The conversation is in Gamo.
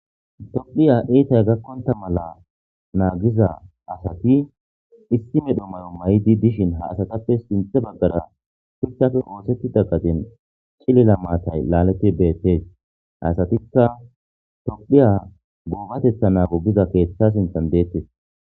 tophiya ittay gakkonta mala naagiza asati issi medho may7o may7di dishin ha asatappe sinthe baggara fiktafe oosettida gadin cilila maatay laaleti beettees asatikka tophiya guubatetha naagogiza keeththa sinthan deettes